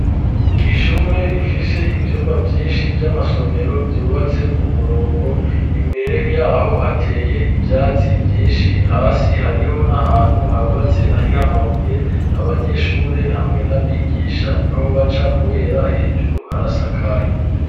Ishure rifise ivyumba vyishi vy'amasomero vyubatse ku murongo imbere yaho hateye ivyatsi vyishi hasi hariho n'ahantu habatse hariho amabuye abanyeshure hamwe n'abigisha niho baca kubera hejuru harasakaye.